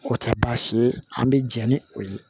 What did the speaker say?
O tɛ baasi ye an bɛ jɛ ni o ye